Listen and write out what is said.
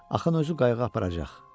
Axın özü qayığı aparacaq.